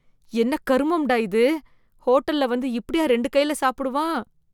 என்ன கரும்ண்டா இது! ஹோட்டல்ல வந்து இப்படியா ரெண்டு கையில சாப்பிடுவான்?